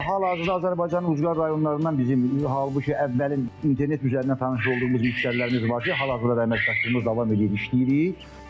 Hal-hazırda Azərbaycanın ucqar rayonlarından bizim, halbuki əvvəlin internet üzərindən tanış olduğumuz müştərilərimiz var ki, hal-hazırda da əməkdaşlığımız davam edir, işləyirik.